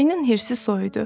Ayının hirsi soyudu.